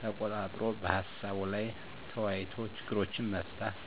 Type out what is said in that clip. ተቆጣጥሮ በሀሳቡ ላይ ተወያይቶ ችግርን መፍታት።